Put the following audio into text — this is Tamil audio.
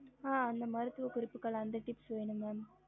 ஹம்